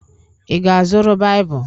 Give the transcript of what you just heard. Ị ga-azụrụ Baịbụl?